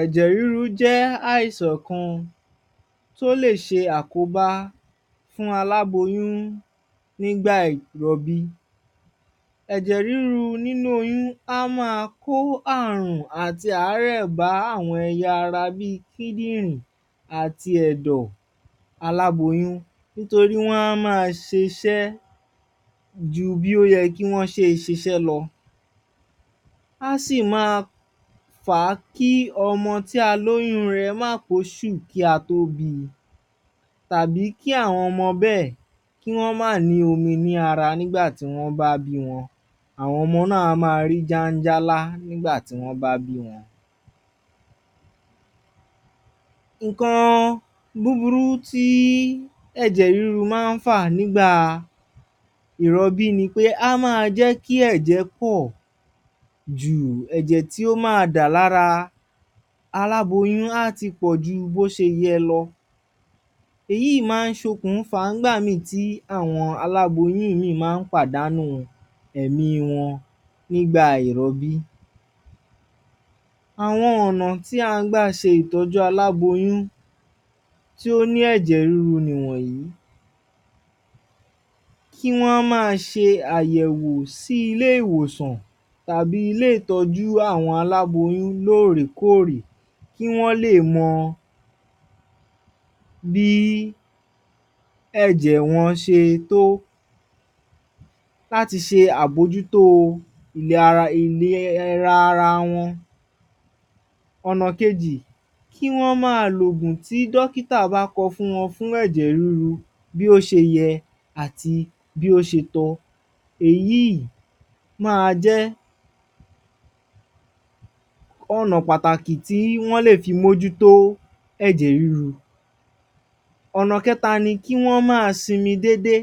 Ẹ̀jẹ̀ rí́ru jẹ́ àìsàn kan tó lè ṣe àkóbá fún aláboyún nígbà ìrọbí. Ẹ̀jẹ̀ ríru nínú oyún á maa kó àrùn ati àárẹ́ bá àwọn ẹ̀yà ara bi kídìrì àti ẹ̀dò aláboyún ,nítorí wọ́n á maa ṣe iṣẹ́ ju bí ó ṣe yẹ lọ, Á sì maa fa kí ọmọ tí a lóyun rẹ̀ má pé oṣù kí wọ́n tó bí, tàbí kí àwọn ọmọ bẹ́è má ní omi lára nígbà tí wọ́n bá bí wọ́n. Àwọn ọmọ náà á rí jáńjálá nígbà tí wọ́n bá bí wọn. Ǹǹkan búburú tí ẹ̀jẹ̀ ríru máa ń fà nígbà ìrọbí ni pé, Á maa jẹ́ kí ẹ̀j̣ẹ̀ pọ̀jù, ẹ̀jẹ̀ tí ó maa dà lára aláboyún á tí pọ̀ jù bó ṣe yẹ lọ. Èyí ló máa ń fá tí àwọn aláboyún máa ń pàdánù ẹ̀mi wọn nígbà ìrobí. Àwọn ònà tí à ń gbà ṣe ìtọ̣́jú aláboyún tí ó ní ẹ̀jẹ̀ ríru nì wọ̀nyí; Kí wọ́n maa ṣe àyẹ̀wò sí ilé ìwòsàn, tàbí ilé ìtọjú àwọn aláboyún lóórèkóórè, kí wọ́n lè mọ̣ bí ẹ̀jẹ̀ wọn ṣe tọ́, láti ṣe àbójutó ìlera ara wọn. Ọ̀̀nà kejì, kí wọ́n maa lo òògun tí dọ́kítà bá kọ fún wọn fún ẹ̀jẹ̀ ríru bí ó ṣe yẹ, àti bí ó ṣe tọ́ Èyí maa jẹ́ ọ̀nà pàtàkì tí wọ́n lè fi mójú tó ẹ̀jẹ̀ ríru. Ọ̀̀nà kẹ̣ta ni kí wọ́n maa sinmi déédé.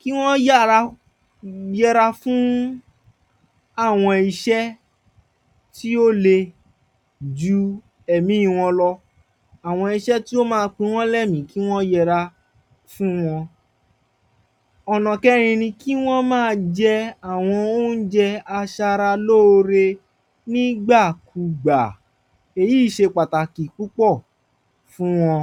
kí wọ́n yára yẹra fún àwọn iṣẹ́, tí ó le ju ẹ̀ẹmi wón lọ. Àwọn iṣẹ́ tí ó ma pin wọ́n lẹ́èmí, kí wọ́n yẹra fún wọn. Ọ̀̀nà kẹrin ni kí wọn maa jẹ àwọn óụ́njẹ aṣaralóore nígbà kugbà èyí ṣe pàtàkì púpọ̀ fún wọn.